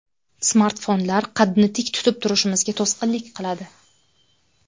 Smartfonlar qadni tik tutib turishimizga to‘sqinlik qiladi.